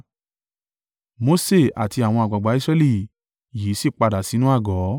Mose àti àwọn àgbàgbà Israẹli yìí sì padà sínú àgọ́.